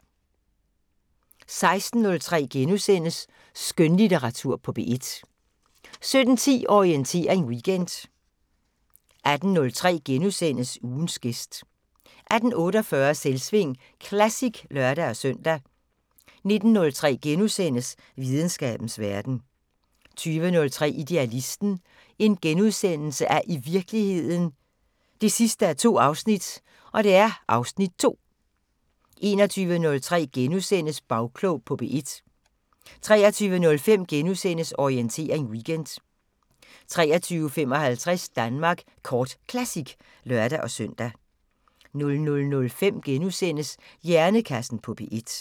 16:03: Skønlitteratur på P1 * 17:10: Orientering Weekend 18:03: Ugens gæst * 18:48: Selvsving Classic (lør-søn) 19:03: Videnskabens Verden * 20:03: Idealisten – i virkeligheden 2:2 (Afs. 2)* 21:03: Bagklog på P1 * 23:05: Orientering Weekend * 23:55: Danmark Kort Classic (lør-søn) 00:05: Hjernekassen på P1 *